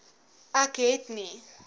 ek het nie